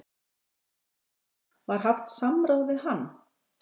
Hafsteinn: Var haft samráð við hann?